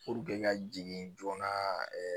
ka jigin joona